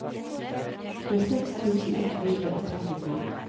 tjueseks tusen ett hundre og trettifem